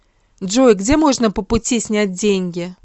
джой где можно по пути снять деньги